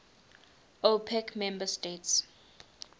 opec member states